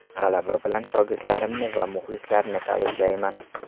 G‘alaba bilan shogirdlarimni va muxlislarni tabriklayman.